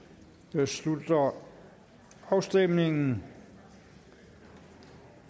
jeg slutter afstemningen